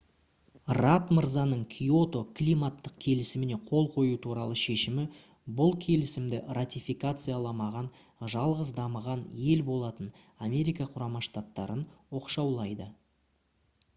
радд мырзаның киото климаттық келісіміне қол қою туралы шешімі бұл келісімді ратификацияламаған жалғыз дамыған ел болатын америка құрама штаттарын оқшаулайды